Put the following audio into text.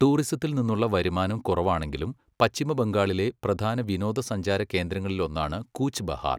ടൂറിസത്തിൽ നിന്നുള്ള വരുമാനം കുറവാണെങ്കിലും, പശ്ചിമ ബംഗാളിലെ പ്രധാന വിനോദസഞ്ചാര കേന്ദ്രങ്ങളിലൊന്നാണ് കൂച്ച് ബെഹാർ.